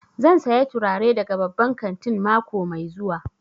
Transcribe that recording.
Zan saya turare daga babban kantin mako mai zuwa